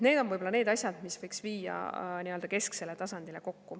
Need on võib-olla need asjad, mis võiks viia kesksele tasandile kokku.